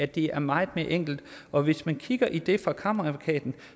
det er meget mere enkelt og hvis man kigger i det fra kammeradvokaten